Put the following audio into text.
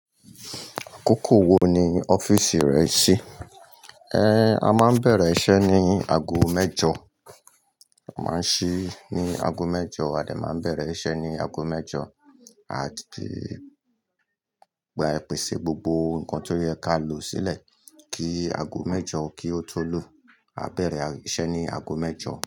Àkókò wo ni ọ́fìsì rẹ ṣí? A máa bẹ̀rẹ̀ iṣẹ́ ní ago mẹ́jọ. A máa ṣí ní ago mẹ́jọ. A dà máa bẹ̀rẹ̀ iṣẹ́ ní ago mẹ́jọ, a tì gbà pèsè gbogbo nǹkan tó yẹ ká lò sílẹ̀ kí ago mẹ́jọ kí ó tó lù. A bẹ̀rẹ̀ iṣẹ́ ní ago mẹ́jọ.